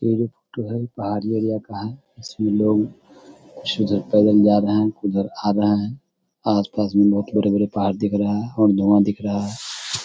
ये जो फोटो है पहाड़ी एरिया का है इसमे लोग आस-पास मे बहुत बड़े-बड़े पहाड़ दिख रहा है और धुवाँ दिख रहा है।